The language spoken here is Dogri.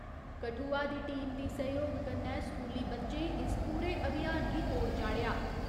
कठुआ दी टीम दी सैह्‌योग कन्नै स्कूली बच्चें इस पूरे अभियान गी तोड़ चाढ़ेआ।